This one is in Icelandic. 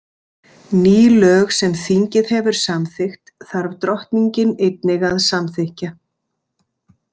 Ný lög sem þingið hefur samþykkt þarf drottningin einnig að samþykkja.